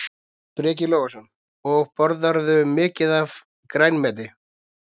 Breki Logason: Og borðarðu mikið af grænmeti?